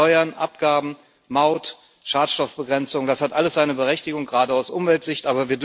Steuern, Abgaben, Maut, Schadstoffbegrenzung das hat alles seine Berechtigung, gerade aus Umweltsicht.